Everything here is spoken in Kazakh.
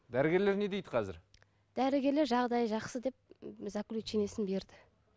дәрігерлер не дейді қазір дәрігерлер жағдайы жақсы деп заключениесін берді